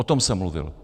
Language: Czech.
O tom jsem mluvil.